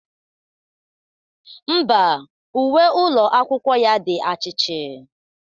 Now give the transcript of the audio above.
Ḿbà, uwe ụlọ akwụkwọ ya di achichi